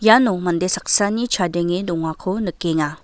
iano mande saksani chadenge dongako nikenga.